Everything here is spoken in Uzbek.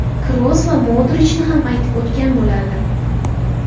Kroos va Modrichni ham aytib o‘tgan bo‘lardim.